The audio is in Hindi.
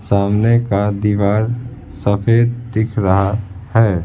सामने का दीवार सफेद दिख रहा है।